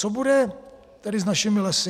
Co bude tedy s našimi lesy?